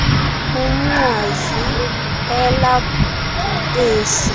umnqwazi ela bhubesi